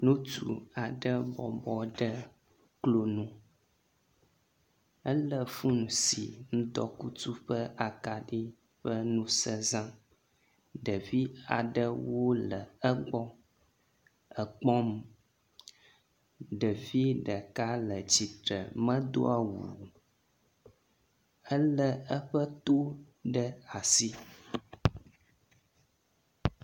Ŋutsu aɖe bɔbɔ ɖe klo nu. Elé foni si ŋdɔkutsu ƒe akaɖi ƒe ŋusẽ zam. Ɖevi aɖewo le egbɔ ekpɔm. ɖevi ɖeka le tsitre medo awu o Elé eƒe to ɖe asi.